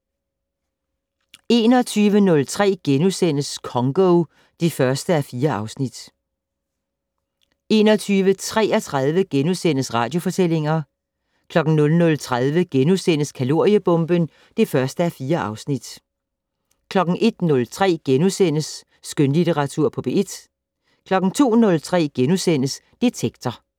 21:03: Congo (1:4)* 21:33: Radiofortællinger * 00:30: Kaloriebomben (1:4)* 01:03: Skønlitteratur på P1 * 02:03: Detektor *